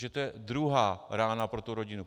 Takže to je druhá rána pro tu rodinu.